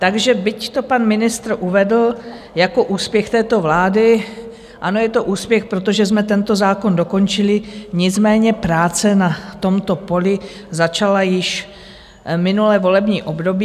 Takže byť to pan ministr uvedl jako úspěch této vlády, ano, je to úspěch, protože jsme tento zákon dokončili, nicméně práce na tomto poli začala již minulé volební období.